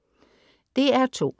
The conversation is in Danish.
DR2: